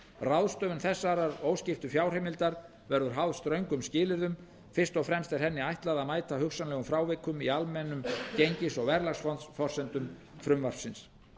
ráðstöfun þessarar óskiptu fjárheimildar verður háð ströngum skilyrðum fyrst og fremst er henni ætlað að mæta hugsanlegum frávikum í almennum gengis og verðlagsforsendum frumvarpsins